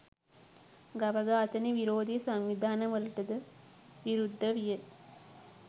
ගව ඝාතන විරෝධී සංවිධාන වලටද විරුද්ධ විය